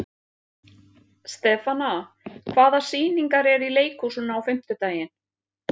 Stefana, hvaða sýningar eru í leikhúsinu á fimmtudaginn?